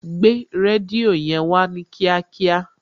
Gbé rédíò yẹn Wá ní kíákíá